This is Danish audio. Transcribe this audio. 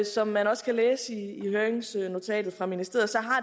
som man også kan læse i høringsnotatet fra ministeriet